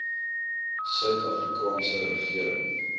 suid afrikaanse regering